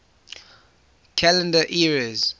calendar eras